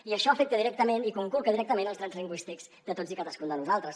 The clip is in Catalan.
i això afecta directament i conculca directament els drets lingüístics de tots i cadascun de nosaltres